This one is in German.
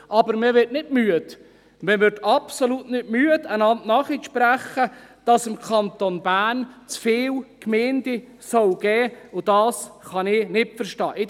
Aber man wird absolut nicht müde, einander nachzusprechen, dass es im Kanton Bern zu viele Gemeinden geben soll, und das kann ich nicht verstehen.